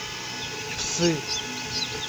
псы